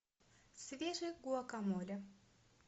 свежий гуакамоле